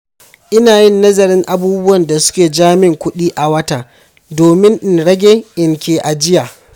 Ina yin nazarin abubuwan da su ke jamin kuɗi a wata domin in rage in ke ajiya.